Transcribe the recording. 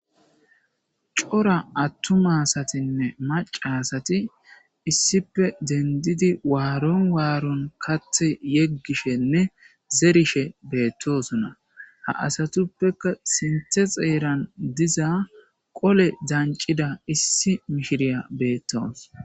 Corra atuma assatine macca assati issipe deniddidi katha yegishene zerishe bettosona ha assatupeka sinithe xerrani olle daniciza issi mishiriya betawusi